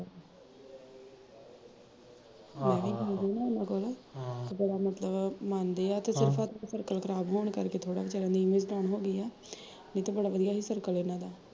ਤੇ ਬੜਾ ਮਤਲਬ ਮਨਦੇ ਆ ਹਮ ਤੇ ਸਿਰਫ਼ ਕਤਲ ਖਰਾਬ ਹੋਣ ਕਰਕੇ ਥੋੜਾ ਜਿਹਾ ਨੀਚੀ ਹੋਗੀ ਆ ਨਹੀਂ ਤੇ ਬੜਾ ਵਧੀਆ ਸੀ ਸਰਕਲ ਏਹਨਾ ਦਾ